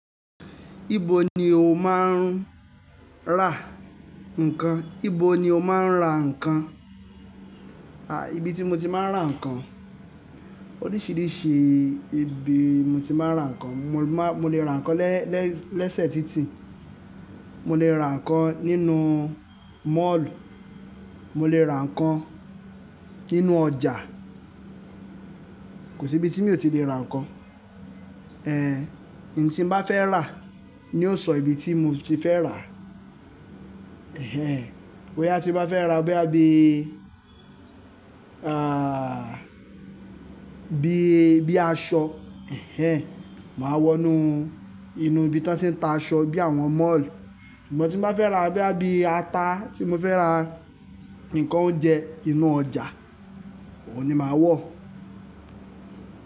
Ibo ni o máa ń rà nǹkan? Ibo ni o máa ń rà nǹkan? À, ibi tí mo ti máa ń rà nǹkan, oríṣiríṣi ibi mo ti máa ń ra nǹkan. Mo lè rà nǹkan lẹ́sẹ̀ títì, mo lè rà nǹkan nínú Malll, mo lè rà nǹkan nínú ọjà, kò sí ibi tí mi ò ti le rà nǹkan. N tí n bá fẹ́ rà ni yóò sọ ibi tí mo ti fẹ́ rà. Boya tí n bá fẹ́ rà boya bíi bíi, bíi aṣọ máa wọnú inú ibi tí wọ́n ti ń ta aṣọ bíi àwọn Mall. Ṣùgbọ́n tí n bá fẹ́ rà bíi ata, tí mo fẹ́ rà nǹkan oúnjẹ, inú ọjà, òun ni màá wọ̀.